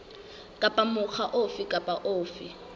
kapa mokga ofe kapa ofe